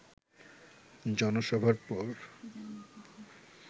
জনসভার পর